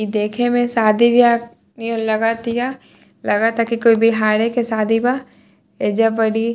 इ देखे में शादी बियाह नियर लगतिया लागता कोई बिहारी के शादी बा एजा बड़ी --